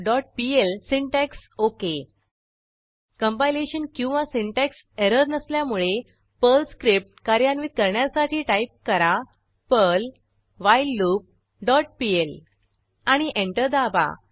whileloopपीएल syntax okay compilation किंवा syntax error नसल्यामुळे Perl script कार्यान्वित करण्यासाठी टाईप करा पर्ल व्हाईललूप डॉट पीएल आणि एंटर दाबा